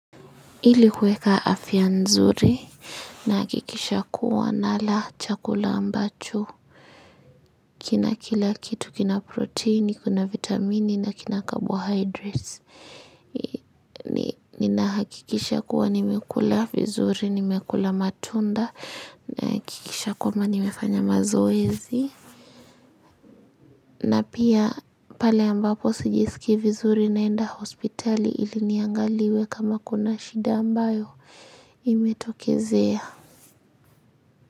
Ili kueka afia nzuri nahakikisha kuwa nala chakula ambacho. Kina kila kitu kina proteini, kina vitamini na kina carbohydrates. Ninahakikisha kuwa nimekula vizuri, nimekula matunda, nahakikisha kuwa nimefanya mazoezi. Na pia pale ambapo sijisikii vizuri naenda hospitali ili niangaliwe kama kuna shida ambayo imetokezea.